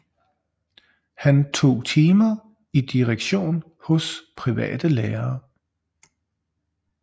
Han tog timer i direktion hos private lærere